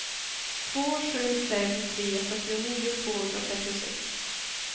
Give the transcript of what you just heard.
två sju fem tre fyrtionio tvåhundratrettiosex